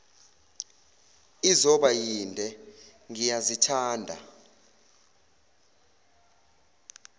izoba yinde ngiyazithanda